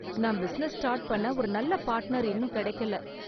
நான் business start பண்ண ஒரு நல்ல பார்ட்னர் இன்னும் கிடைக்கல.